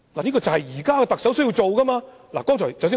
這就是現任特首需要做的事情。